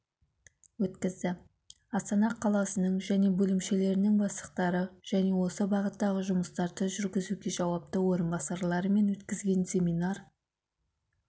өткізді астана қаласының және бөлімшелерінің бастықтары және осы бағыттағы жұмыстарды жүргізуге жауапты орынбасарларымен өткізген семинар